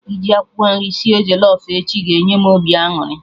Iji akwụkwọ nri sie jollof echi ga-enye m obi aṅụrị